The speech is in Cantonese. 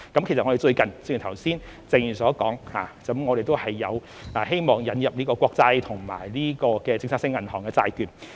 其實，正如剛才謝議員所指，我們最近也希望引入國債及政策性銀行的債券。